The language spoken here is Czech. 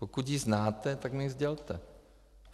Pokud ji znáte, tak mi ji sdělte.